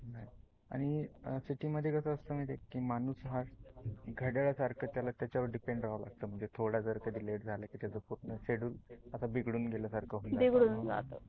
आणि city मध्ये कस असत माहिती आहे का माणूस हा घड्याळासारख त्याला त्याच्या वर depend रहाव, लागत थोडा जर कधी late झाल की त्याच पूर्ण schedule अस बिघडून अस बिघडून गेल्यासारख होत.